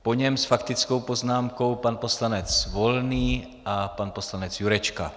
Po něm s faktickou poznámkou pan poslanec Volný a pan poslanec Jurečka.